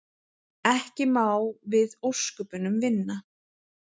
Ekki má við ósköpunum vinna.